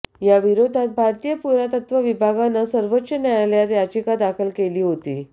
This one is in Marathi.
याविरोधात भारतीय पुरातत्व विभागानं सर्वोच्च न्यायालयात याचिका दाखल केली होती